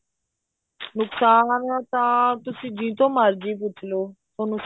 ਨੁਕਸਾਨ ਤਾਂ ਤੁਸੀਂ ਜਿਹਤੋਂ ਮਰਜੀ ਪੁੱਛ ਲੋ ਤੁਹਾਨੂੰ